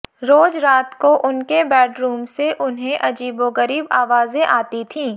रोज रात को उनके बेडरूम से उन्हें अजीबोगरीब आवाजें आती थीं